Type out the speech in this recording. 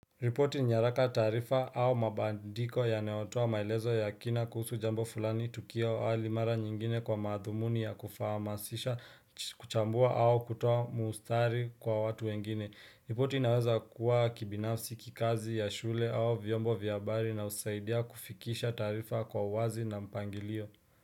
Ripoti nyaraka taarifa au mabandiko yanayotoa maelezo ya kina kuhusu jambo fulani tukio awali mara nyingine kwa mathumuni ya kufahamasisha kuchambua au kutoa mstari kwa watu wengine. Ripoti inaweza kuwa kibinafsi kikazi ya shule au vyombo vya habari na husaidia kufikisha taarifa kwa uwazi na mpangilio.